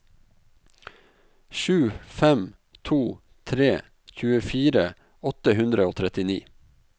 sju fem to tre tjuefire åtte hundre og trettini